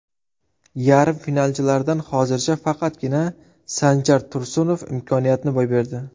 Yarim finalchilardan hozircha faqatgina Sanjar Tursunov imkoniyatni boy berdi.